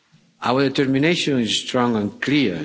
Our determination is strong and